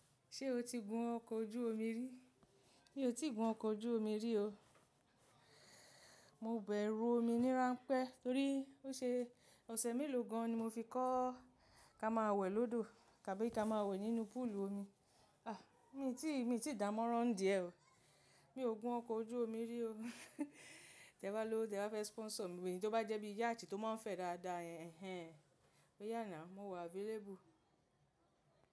Ṣé o ti gun ọkọ̀ ojú omi rí? Mi ò tí ì gun ọkọ̀ ojú omi rí o. Mo bẹ̀rù omi nírànpé torí ó ṣe ọ̀sẹ̀ mélòó gan ni mo fi kọ́ ká máa wẹ̀ lódò tàbí ká máa wẹ̀ nínú púùlù omi. Ah! Èmi tíì, èmi tíì dámọ́rán díẹ̀ o. Mi ò gun ọkọ̀ ojú omi rí o. Tẹ̀ bá lòwo, tẹ̀ bá fẹ́ sponsor mi, ẹ̀yi tó bá jẹ́ bí Yacht tó máa ń fẹ́ dáadáa yen, ẹhen, oyà now mo wà available.